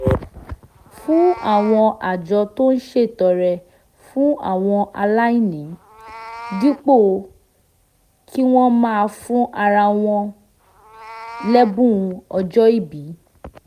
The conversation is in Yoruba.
fún àwọn àjọ tó ń ṣètọrẹ fún àwọn aláìní dípò kí wọ́n máa fún ara wọn lẹ́bùn ọjọ́ ìbí